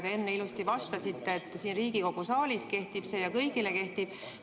Te enne ilusti vastasite, et siin Riigikogu saalis kehtib ja see kehtib kõigile.